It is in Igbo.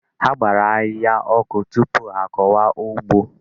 A gbara ahịhịa ọkụ tupu a kọwa ụgbọ.